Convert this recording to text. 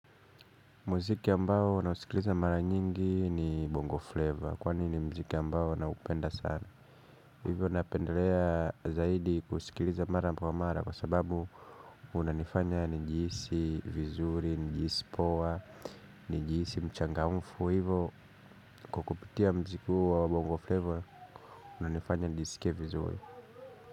Muziki ambao nausikiliza mara nyingi ni Bongo Flavor kwani ni mziki ambao naupenda sana. Hivyo napendelea zaidi kusikiliza mara kwa mara kwa sababu unanifanya nijihisi vizuri, nijihisi poa, njiisi mchangamfu hivyo kwa kupitia mziki huo wa Bongo Flavor Unanifanya njiisike vizuri.